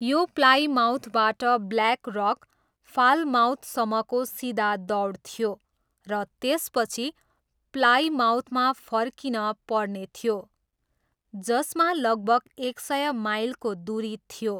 यो प्लाइमाउथबाट Black Rock, फालमाउथसम्मको सिधा दौड थियो र त्यसपछि प्लाइमाउथमा फर्किन पर्ने थियो, जसमा लगभग एक सय माइलको दुरी थियो।